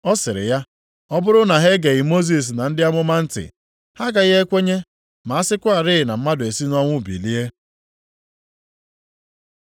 “Ọ sịrị ya, ‘Ọ bụrụ na ha egeghị Mosis na ndị amụma ntị, ha agaghị ekwenye ma a sịkwarị na mmadụ esi nʼọnwụ bilie.’ ”